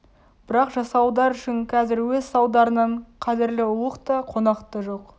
бірақ жасауылдар үшін қазір өз салдарынан қадірлі ұлық та қонақ та жоқ